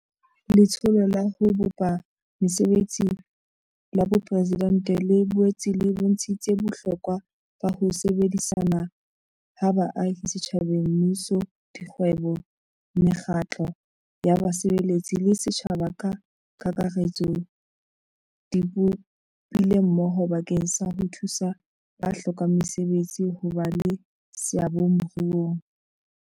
Letsholo la ho Bopa Mese betsi la Boporesidente le boetse e bontshitse bohlokwa ba ho sebedisana ha baahi setjhabeng Mmuso, dikgwebo, mekgatlo ya basebetsi le setjhaba ka kakaretso di ipopile mmoho bakeng sa ho thusa ba hlokang mesebetsi ho ba le seabo moruong.